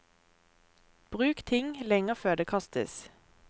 Bruk ting lenger før det kastes.